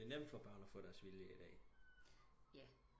Men det er nem for børn at få deres vilje i dag